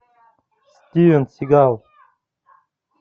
стивен сигал